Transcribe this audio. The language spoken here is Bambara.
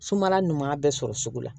Sumala ɲuman bɛɛ sɔrɔ sugu la